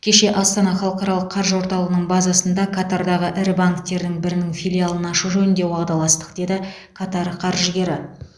кеше астана халықаралық қаржы орталығының базасында катардағы ірі банктердің бірінің филиалын ашу жөнінде уағдаластық деді катар қаржыгері